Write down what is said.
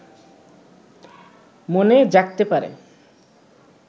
মনে জাগতে পারে